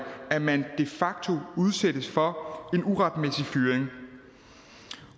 at man de facto udsættes for en uretmæssig fyring